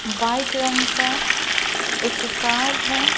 White रंग का एक कार्ड है ।